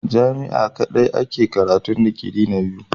Jami'a kadai ake karatun digiri na biyu.